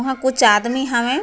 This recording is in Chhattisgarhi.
वहां कुछ आदमी हवें। --